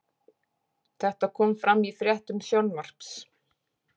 Þetta kom fram í fréttum Sjónvarps